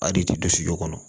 A de ti don sujɔ kɔnɔ